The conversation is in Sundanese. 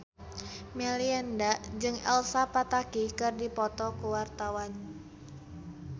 Melinda jeung Elsa Pataky keur dipoto ku wartawan